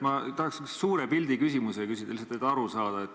Ma tahaksin suure pildi küsimuse küsida – lihtsalt et aru saada.